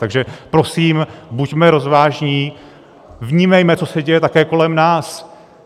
Takže prosím, buďme rozvážní, vnímejme, co se děje také kolem nás.